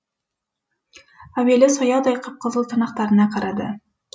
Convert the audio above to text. әуелі сояудай қып қызыл тырнақтарына қарады